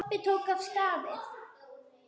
Kobbi tók af skarið.